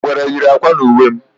Ngwere yiri ákwà n'uwe m